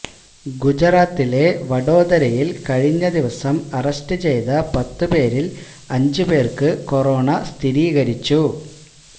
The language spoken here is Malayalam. ഗുജറാത്തിലെ വഡോദരയിൽ കഴിഞ്ഞ ദിവസം അറസ്റ്റ് ചെയ്ത പത്ത് പേരിൽ അഞ്ച് പേർക്ക് കൊറോണ സ്ഥിരീകരിച്ചു